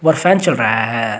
और फैन चल रहा है।